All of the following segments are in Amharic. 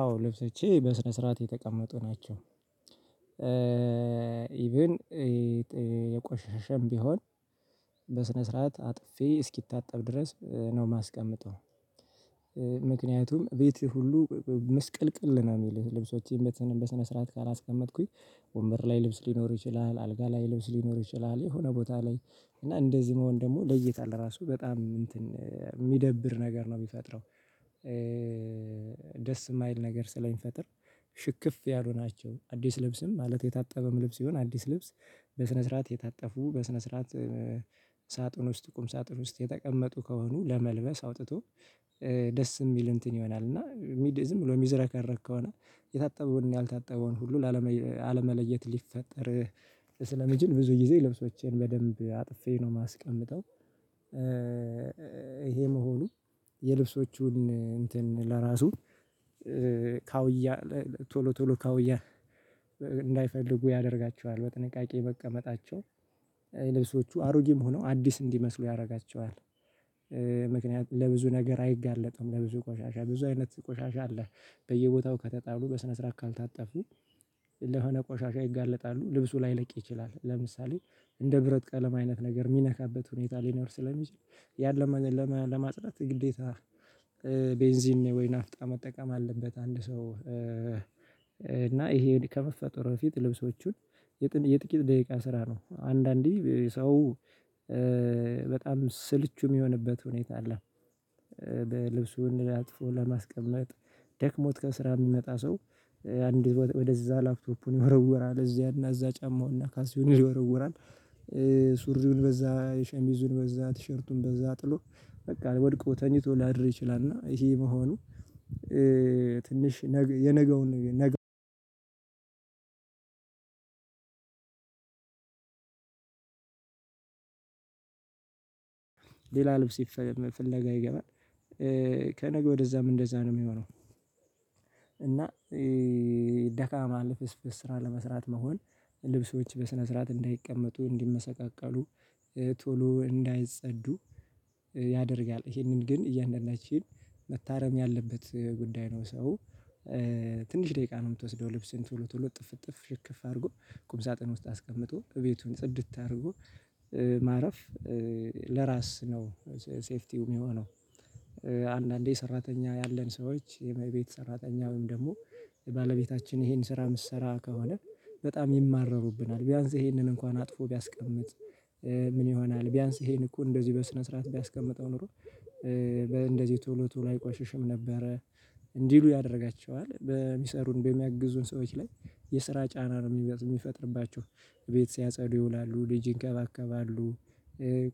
አዎ ልብሶቼ በስነ ስርዓት የተቀመጡ ናቸው። ኢቭን የቆሸሸም ቢሆን በስነ ስርዓት አጥፌ እስኪታጠብ ድረስ ነው እማስቀምጠው። ምክንያቱም ቤቴ ሁሉ ምስቅልቅል ነው እሚል ልብሶቼን በስነ ስርዓት ካላስቀመጥኩኝ ወንበር ላይ ልብስ ሊኖር ይችላል አልጋ ላይ ልብስ ሊኖር ይችላል የሆነ ቦታ ላይ እና እንደዚህ መሆን ደግሞ ለይተህ ለራሱ በጣም እንትን እሚደብር ነገር ነው እሚፈጥረው። ደስ እማይል ነገር ስለሚፈጥር ሽክፍ ያሉ ናቸው። አዲስ ልብስም ማለት የታጠበም ልብስ ይሁን አዲስ ልብስ በስነ ስርዓት የታጠፉ በስነ ስርዓት ሳጥን ውስጥ ቁም ሳጥን ውስጥ የተቀመጡ ከሆኑ ለመልበስ አውጥቶ ደስ እሚል እንትን ይሆናል። እና ዝም ብሎ እሚዝረከረክ ከሆነ የታጠበውን እና ያልታጠበውን ሁሉ አለመለየት ሊፈጠር ስለሚችል ብዙ ጊዜ ልብሶቼን በደንብ አጥፌ ነው እማስቀምጠው። ይሄ መሆኑ የልብሶቹን እንትን ለራሱ ካውያ ቶሎ ቶሎ ካውያ ያደርጋቸዋል በጥንቃቄ መቀመጣቸው ልብሶቹ አሮጌም ሆነው አዲስ እንዲመስሉ ያደርጋቸዋል። ምክንያቱም ለብዙ ነገር አይጋለጠውም ለብዙ ቆሻሻ ብዙ አይነት ቆሻሻ አለ በየቦታው ከተጣሉ በስነ ስርዓት ካልታጠፉ ለሆነ ቆሻሻ ይጋለጣሉ ልብሱ ላይለቅ ይችላል። ለምሳሌ እንደ ብረት ቀለም አይነት ነገር እሚነካበት ሁኔታ ሊኖር ስለሚችል ያን ለማጥራት ግዴታ ቤንዚን ወይና ፍጣ መጠቀም አለበት። አንድ ሰው ይሄ ከመፈጠሩ በፊት ልብሶቹን የጥቂት ደቂቃ ስራ ነው። አንዳንዴ ሰው በጣም ስልቹ እሚሆንበት ሁኔታ አለ። ልብሱ አጥፎ ለማስቀመጥ ደክሞት ከስራ እሚመጣ ሰው አንድ ወደዛ ላፍቶፑን ይወረውራል እዚያና እዛ ጫማውና ካሲዩን ይወረውራል ሱሪውን በዛ ሸሚዙን በዛ ቲሸርቱን በዛ ጥሎ በቃ ወድቆ ተኝቶ ላድር ይችላል። እና ይሄ መሆኑ ትንሽ የነገውን ነገር ሌላ ልብስ ፍለግ ይገባል ከነገ ወደዛም እንደዛ ነው እሚሆነው። እና ደካማ ልፍስፍስ ስራ ለመስራት መሆን ልብሶች በስነ ስርዓት እንዳይቀመጡ እንዲመሰቃቀሉ ቶሎ እንዳይጸዱ ያደርጋል ይሄንን ግን እያንዳንዳችን መታረም ያለበት ጉዳይ ነው። ሰው ትንሽ ደቂቃ ነው እምትወስደው ልብስን ቶሎ ቶሎ እጥፍ እጥፍ ሽክፍ አድርጎ ቁም ሳጥን ውስጥ አስቀምጦ እቤቱን ጽድት አድርጎ ማረፍ ለራስ ነው ሴፍቲው እሚሆነው። አንዳንዴ ሰራተኛ ያለን ሰዎች የቤት ሰራተኛ ወይም ደሞ ባለቤታችን ይሄን ስራ እምትሰራ ከሆነ በጣም ይማረሩብናል ቢያንስ ይሄንን እንኳን አጥፎ ቢያስቀምጥ ምን ይሆናል ቢያንስ ይሄን እኮ እንደዚህ በስነ ስርዓት ቢያስቀምጠው ኖሮ በእንደዚህ ቶሎ ቶሎ አይቆሽሽም ነበረ እንዲሉ ያደርጋቸዋል በሚሰሩን በሚያግዙን ሰዎች ላይ የስራ ጫና ነው እሚፈጥርባቸው። ቤት ሲያጸዱ ይውላሉ ልጅ ይንከባከባሉ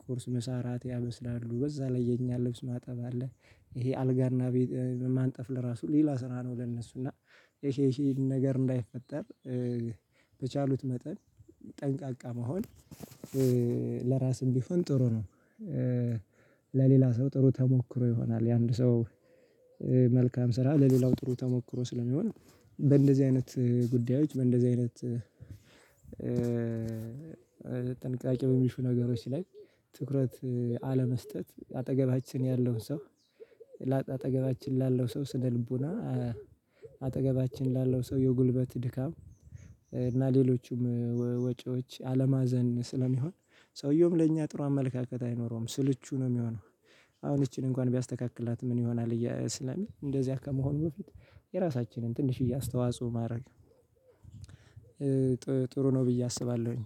ቁርስ ምሳ ራት ያበስላሉ በዛ ላይ የእኛን ልብስ ማጠብ አለ። ይሄ አልጋና ቤት ማንጠፍ ለራሱ ሌላ ስራ ነው ለእነሱ እና ይሄ ይሄ ነገር እንዳይፈጠር በቻሉት መጠን ጠንቃቃ መሆን ለራስም ቢሆን ጥሩ ነው። ለሌላ ሰው ጥሩ ተሞክሮ ይሆናል። የአንድ ሰው መልካም ስራ ለሌላው ጥሩ ተሞክሮ ስለሚሆን በእንደዚህ አይነት ጉዳዮች በእንደዚህ አይነት ጥንቃቄ በሚሹ ነገሮች ላይ ትኩረት አለመስጠት አጠገባችን ያለውን ሰው አጠገባችን ላለው ሰው ስነ ልቦና አጠገባችን ላለው ሰው የጉልበት ድካም እና ሌሎቹም ወጭዎች አለማዘን ስለሚሆን ሰውየውም ለእኛ ጥሩ አመለካከት አይኖረውም ስልቹ ነው እሚሆነው። አሁን እቺን እንኳን ቢያስተካክላት ምን ይሆናል? ስላሚል እንደዚያ ከመሆኑ በፊት የራሳችንን ትንሽዬ አስተዋጽኦ ማድረግ ጥሩ ነው ብዬ አስባለሁኝ